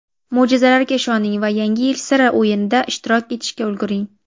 Mo‘jizalarga ishoning va "Yangi yil siri" o‘yinida ishtirok etishga ulguring.